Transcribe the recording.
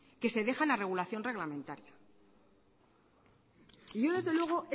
que dejan a regulación reglamentaria y yo desde luego